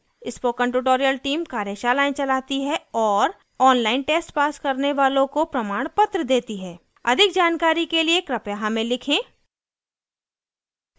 spoken tutorial team कार्यशालाएं चलाती है और ऑनलाइन टेस्ट पास करने वालों को प्रमाणपत्र देती है अधिक जानकारी के लिए कृपया हमें लिखें